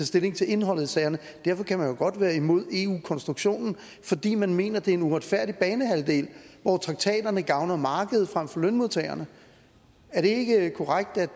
stilling til indholdet i sagerne man kan jo godt være imod eu konstruktionen fordi man mener at det er en uretfærdig banehalvdel hvor traktaterne gavner markedet frem for lønmodtagerne er det ikke korrekt at